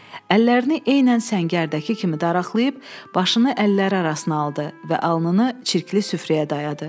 Əllərini eynən səngərdəki kimi daraqlayıb başını əlləri arasına aldı və alnını çirkli süfrəyə dayadı.